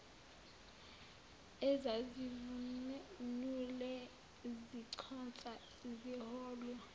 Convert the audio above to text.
ezazivunule ziconsa ziholwa